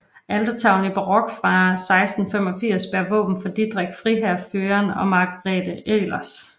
Altertavlen i barok fra 1685 bærer våben for Didrik friherre Fuiren og Margrethe Elers